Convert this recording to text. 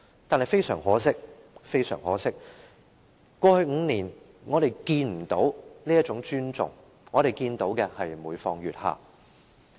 然而，非常可惜，過去5年，我們看不到這種尊重，我們看到的是每況愈下。